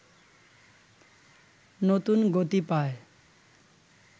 নতুন গতি পায়